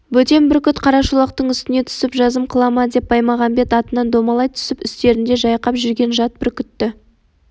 бөтен бүркіт қарашолақтың үстіне түсіп жазым қыла ма деп баймағамбет атынан домалай түсіп үстерінде жайқап жүрген жат бүркітті